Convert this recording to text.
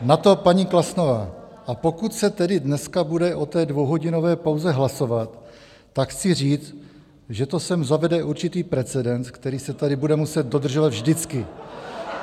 Na to paní Klasnová: "A pokud se tedy dneska bude o té dvouhodinové pauze hlasovat, tak chci říct, že to sem zavede určitý precedens, který se tady bude muset dodržovat vždycky."